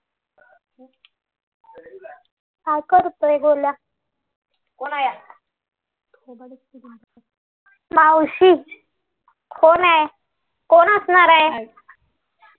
काय करतोय गोळ्या मावशी कोण आहे कोण असणार आहे